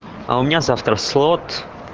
а у меня завтра в слот